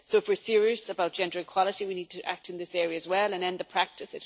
So, if we are serious about gender equality, we need to act in this area as well and end the practice.